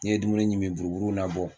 N'i ye dumuni ɲimi buruburuw na bɔ